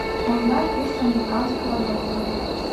узнай курс американского доллара